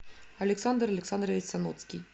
александр александрович саноцкий